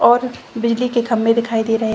बिजली के खम्मे दिखाई दे रहे हैं।